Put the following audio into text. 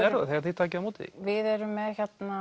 er það þegar þið takið á móti því við erum með